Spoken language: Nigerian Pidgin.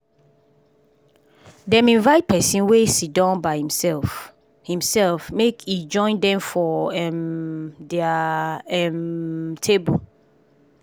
dem invite person wey siddon by imself imself make e join dem for um dia um table